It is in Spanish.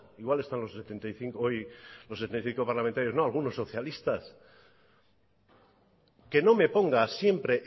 igual están los setenta y cinco parlamentarios no algunos socialistas que no me ponga siempre